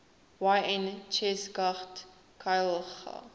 yn cheshaght ghailckagh